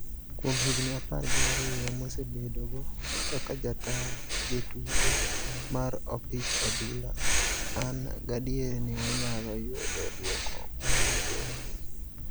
Kuom higni apar gi ariyo masebedogo kaka jataa jotugo mar opich adhula, an gadier ni wanyalo yudo duoko mowinjore."